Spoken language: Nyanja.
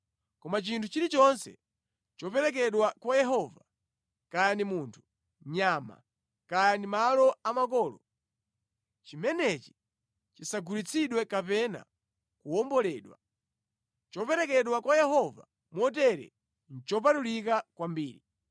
“ ‘Koma chinthu chilichonse choperekedwa kwa Yehova, kaya ndi munthu, nyama, kaya ndi malo a makolo, chimenechi chisagulitsidwe kapena kuwomboledwa. Choperekedwa kwa Yehova motere nʼchopatulika kwambiri.